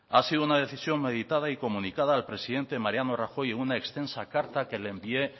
ha sido una decisión meditada y comunicada al presidente mariano rajoy en una extensa carta que le envié